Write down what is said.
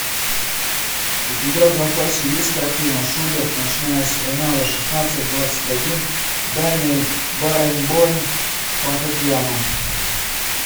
у тебя в запасе есть картина шуберт ночная серенада шестнадцать двадцать один даниэль баренбойм фортепиано